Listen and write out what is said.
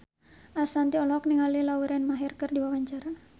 Ashanti olohok ningali Lauren Maher keur diwawancara